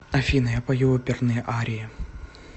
афина я пою оперные арии